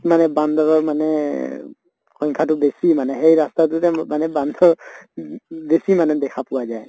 মানে বান্দৰৰ মানে এহ সংখ্য়াতো বেছি মানে, সেই ৰাস্তাটোতে ম মানে বান্দৰ বেছি মানে দেখা পোৱা যায়।